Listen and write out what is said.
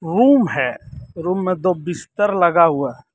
room है room में दो बिस्तर लगा हुआ--